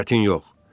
Surətin yox.